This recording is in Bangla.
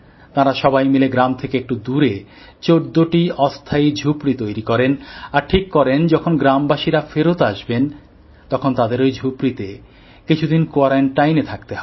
তারা সবাই মিলে গ্রাম থেকে একটু দূরে ১৪টি অস্থায়ী ঝুপড়ি তৈরি করেন আর ঠিক করেন যখন গ্রামবাসীরা ফেরত আসবেন তখন তাদের ওই ঝুপড়িতে কিছুদিন কোয়ারান্টাইনে থাকতে হবে